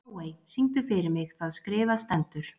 Bláey, syngdu fyrir mig „Það skrifað stendur“.